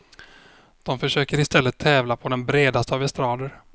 De försöker i stället tävla på den bredaste av estrader.